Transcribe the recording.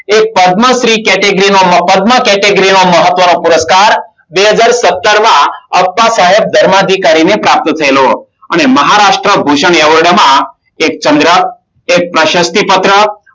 એ પદ્મશ્રી કેટેગરીનો પદ્મા કેટેગરીનો મહત્વનો પુરસ્કાર બે હજાર સત્તર માં અપ્પા સાહેબ ધર્માધિકારીને પ્રાપ્ત થયેલો. અને મહારાષ્ટ્ર ભૂષણ એવોર્ડમાં એક ચંદ્ર એક પ્રશસ્તિ પત્રક